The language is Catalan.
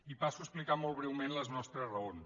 i passo a explicar molt breument les nostres raons